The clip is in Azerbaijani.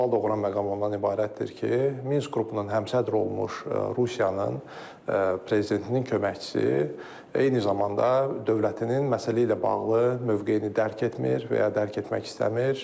Sual doğuran məqam ondan ibarətdir ki, Minsk qrupunun həmsədri olmuş Rusiyanın prezidentinin köməkçisi eyni zamanda dövlətinin məsələ ilə bağlı mövqeyini dərk etmir və ya dərk etmək istəmir.